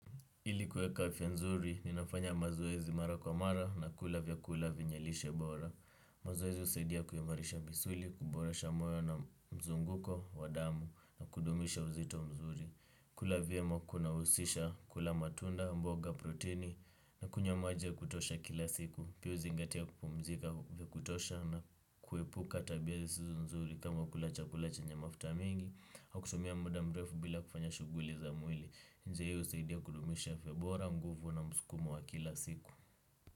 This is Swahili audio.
Ilikuweka afya nzuri, ninafanya mazoezi mara kwa mara na kula vyakula vyenye lishe bora. Mazoezi husaidia kuimarisha misuli, kuboresha moyo na mzunguko, wadamu, na kudumisha uzito mzuri. Kula vyema kunahusisha, kula matunda, mboga, protini, na kunywa maji ya kutosha kila siku. Pia zingatia kupumzika ya kutosha na kuepuka tabia zisizo nzuri kama kula chakula chanye mafuta mingi, kwa kutumia muda mrefu bila kufanya shuguli za mwili njia hiyo usaidia kudumisha afya bora nguvu na muskumo wa kila siku.